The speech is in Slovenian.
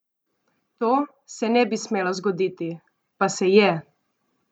To se ne bi smelo zgoditi, pa se je!